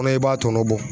Kɔnɔ i b'a tɔ bɔ